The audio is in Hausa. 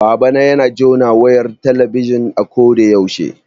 Babana yana jona wayar talabijin a ko da yaushe